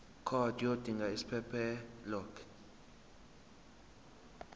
card yodinga isiphephelok